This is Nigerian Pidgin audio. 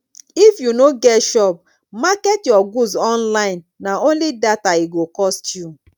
if you no get shop market your goods online na only data e go cost you